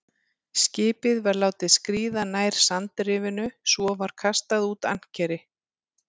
Skipið var látið skríða nær sandrifinu, svo var kastað út ankeri.